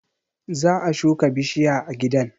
Za a shuka bishiya a gidan